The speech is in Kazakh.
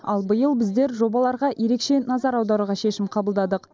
ал биыл біздер жобаларға ерекше назар аударуға шешім қабылдадық